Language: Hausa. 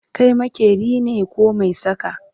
Kai maƙeri ne koh maisaka?